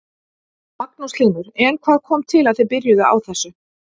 Magnús Hlynur: En hvað kom til að þið byrjuðu á þessu?